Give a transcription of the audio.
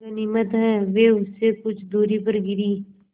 गनीमत है वे उससे कुछ दूरी पर गिरीं